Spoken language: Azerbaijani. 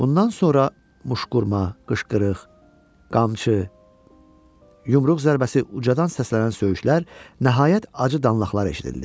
Bundan sonra muşqurma, qışqırıq, qamçı, yumruq zərbəsi, ucadan səslənən söyüşlər, nəhayət, acı danlaqlar eşidildi.